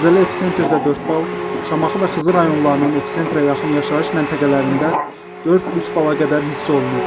Zəlzələ episentrdə 4 bal, Şamaxı və Xızı rayonlarının episentra yaxın yaşayış məntəqələrində 4-3 bala qədər hiss olunub.